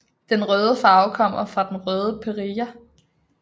Den røde farve kommer fra den røde perilla